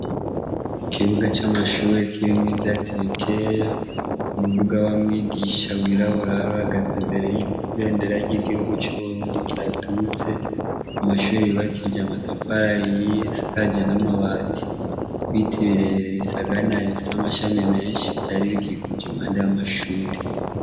Ikibuga c'amashuri kirimw'ivyatsibikeya, umuduga wa mwigisha wirabura aruragaze imbere y'ibendera ry'igihugu c'uburundi kyatutse, amashuri yubakije amatafara yiye sakaje n'amabati, ibiti birerere bisaganayo bifise amashami menshi vyari bikikuja impandi y'amashuri ui.